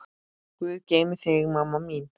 Guð geymi þig, mamma mín.